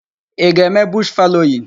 Ị ga-eme bush fallowing?